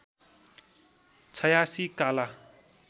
छयासी काला